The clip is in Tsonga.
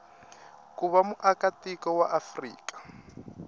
ku va muakatiko wa afrika